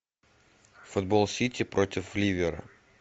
футбол сити против ливера